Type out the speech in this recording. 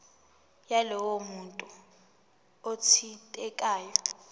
yalowo muntu othintekayo